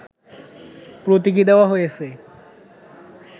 প্রতীকি দেওয়া হয়েছে